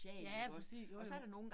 Ja præcis, jo jo